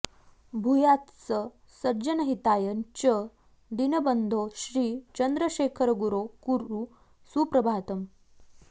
भूयात्स सज्जनहिताय च दीनबन्धो श्री चन्द्रशेखरगुरो कुरु सुप्रभातम्